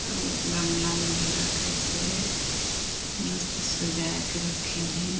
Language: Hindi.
गमला में भी रखाई से मस्त सजा के रखी है।